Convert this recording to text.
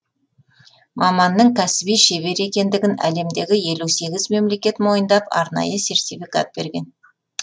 маманның кәсіби шебер екендігін әлемдегі елу сегіз мемлекет мойындап арнайы сертификат берген